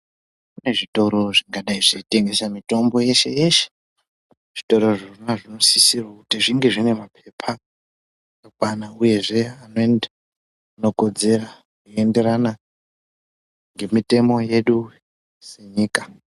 Kune zvitoro zvingadai zveitengesa mitombo yeshe yeshe zvitoro izvonazvo zvinosisira kuti zvinge zvine mapepa akakwana uyezve anokodzera anoenderana nemitemo yenyika.